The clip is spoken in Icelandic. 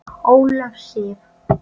Ólöf Sif.